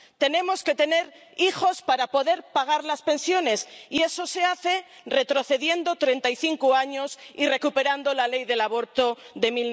tenemos que tener hijos para poder pagar las pensiones, y eso se hace retrocediendo treinta y cinco años y recuperando la ley del aborto de